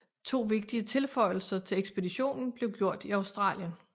To vigtige tilføjelser til ekspeditionen blev gjort i Australien